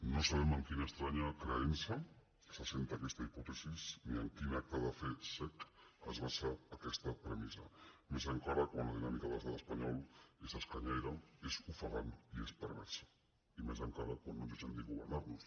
no sabem en quina estranya creença s’assenta aquesta hipòtesi ni en quin acte de fe cec es basa aquesta premissa enca·ra més quan la dinàmica de l’estat espanyol és esca·nyaire és ofegant i és perversa i encara més quan no ens deixen ni governar·nos